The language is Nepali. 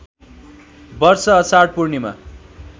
वर्ष अषाढ पूर्णिमा